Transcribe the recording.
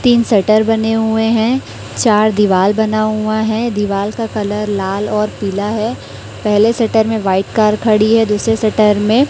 तीन शटर बने हुए हैं चार दीवाल बना हुआ है दीवाल का कलर लाल और पीला है पहले शटर में वाइट कर खड़ी है दूसरे शटर में--